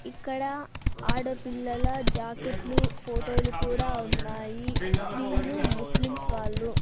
ఇక్కడ ఆడపిల్లల జాకెట్లు ఫోటో లు కూడా ఉన్నాయి వీళ్ళు ముస్లిమ్స్ వాళ్ళు.